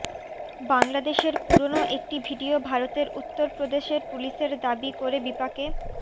বাংলাদেশের পুরোনো একটি ভিডিও ভারতের উত্তর প্রদেশের পুলিশের দাবি করে বিপাকে